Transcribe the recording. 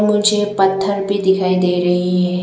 मुझे पत्थर भी दिखाई दे रहीं है।